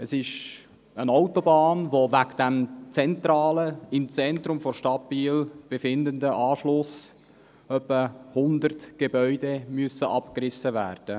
Wegen dieses sich im Zentrum Biels befindenden Anschlusses müssten etwa 100 Gebäude abgerissen werden.